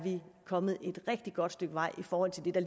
kommet et rigtig godt stykke vej i forhold til det der